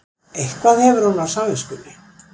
Eitthvað hefur hún á samviskunni.